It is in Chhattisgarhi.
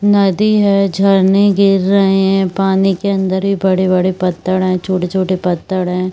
नदी है झरने गिर रहे है पानी के अंदर ये बड़े-बड़े पत्थर है छोटे-छोटे पत्थर है।